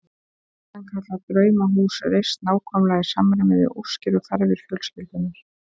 Sannkallað draumahús reist nákvæmlega í samræmi við óskir og þarfir fjölskyldunnar.